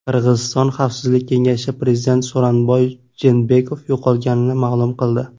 Qirg‘iziston Xavfsizlik kengashi prezident So‘ronbay Jeenbekov yo‘qolganligini ma’lum qildi.